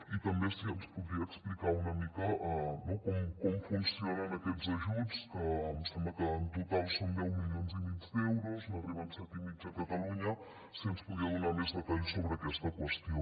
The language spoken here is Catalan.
i també si ens podria explicar una mica com funcionen aquests ajuts que em sembla que en total són deu milions i mig d’euros i n’arriben set i mig a catalunya si ens podia donar més detalls sobre aquesta qüestió